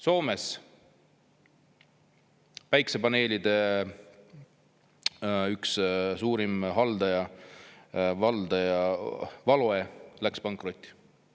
Soomes päikesepaneelide üks suurim valdaja Valoe läks pankrotti.